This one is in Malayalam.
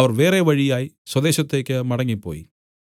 അവർ വേറെ വഴിയായി സ്വദേശത്തേക്ക് മടങ്ങിപ്പോയി